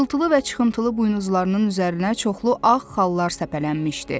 İşıltılı və çıxıntılı buynuzlarının üzərinə çoxlu ağ xallar səpələnmişdi.